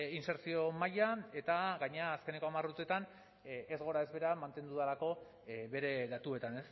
insertzio mailan eta gainera azkeneko hamar urteetan ez gora ez behera mantendu delako bere datuetan